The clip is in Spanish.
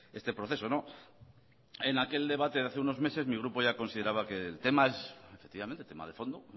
este proceso en aquel debate de hace unos meses mi grupo ya consideraba que el tema es efectivamente tema de fondo